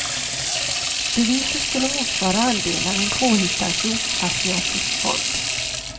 Beviset skulle motsvara andelar i en påhittad sydostasiatisk fond.